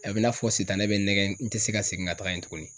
A be n'a fɔ sitanɛ be n nɛgɛ n te se ka segin ga taga yen tuguni